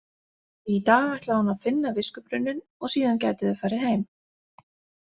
Í dag ætlaði hún að finna viskubrunninn og síðan gætu þau farið heim.